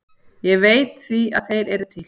Ég veit því að þeir eru til.